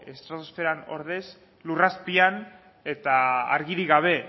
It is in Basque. estratosferan ordez lur azpian eta argirik gabe